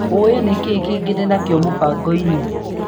Olĩ nĩkĩĩ kĩngĩ ndĩnakĩo mũbango-inĩ?